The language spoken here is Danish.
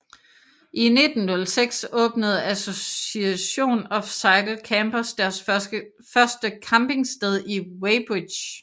I 1906 åbnede Association of Cycle Campers deres første campingsted i Weybridge